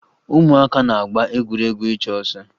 Ụmụaka na-agba egwuregwu ịchụ ọsọ